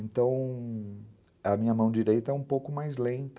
Então a minha mão direita é um pouco mais lenta.